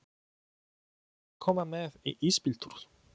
Viljiði koma með í ísbíltúr?